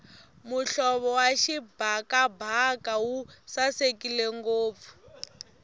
muhlovo wa xibakabaka wu sasekile ngopfu